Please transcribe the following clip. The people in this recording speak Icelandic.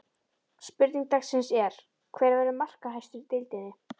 Spurning dagsins er: Hver verður markahæstur í deildinni?